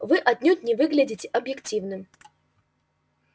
вы отнюдь не выглядите объективным